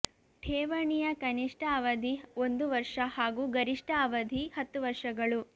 ಠೇವಣಿಯ ಕನಿಷ್ಠ ಅವಧಿ ಒಂದು ವರ್ಷ ಹಾಗೂ ಗರಿಷ್ಠ ಅವಧಿ ಹತ್ತು ವರ್ಷಗಳು